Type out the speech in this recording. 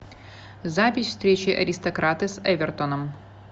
запись встречи аристократы с эвертоном